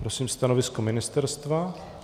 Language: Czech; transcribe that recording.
Prosím stanovisko ministerstva.